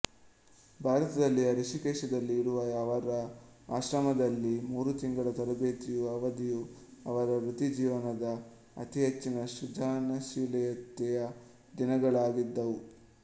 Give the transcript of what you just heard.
ಭಾರತದಲ್ಲಿಯ ಹೃಷಿಕೇಶದಲ್ಲಿ ಇರುವ ಅವರ ಆಶ್ರಮದಲ್ಲಿ ಮೂರು ತಿಂಗಳ ತರಬೇತಿಯ ಅವದಿಯು ಅವರ ವೃತ್ತಿ ಜೀವನದ ಅತಿಹೆಚ್ಚಿನ ಸೃಜನಶೀಲತೆಯ ದಿನಗಳಾಗಿದ್ದವು